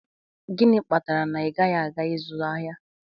Gịnị kpatara na ị gaghị aga ịzụ ahịa?